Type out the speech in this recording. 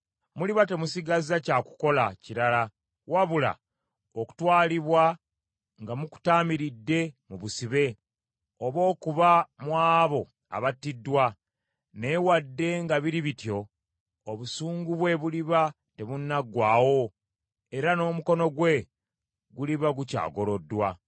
Muliba temusigazza kya kukola kirala wabula okutwalibwa nga mukutaamiridde mu busibe oba okuba mu abo abattiddwa. Naye wadde nga biri bityo, obusungu bwe buliba tebunnaggwaawo, era n’omukono gwe guliba gukyagoloddwa.